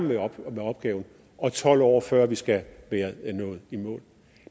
med opgaven og tolv år før vi skal være nået i mål